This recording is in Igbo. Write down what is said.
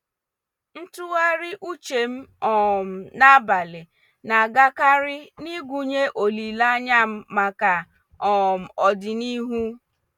Ntụgharị uche m um n’abalị na-agakarị n’ịgụnye olileanya m maka um ọdịnihu.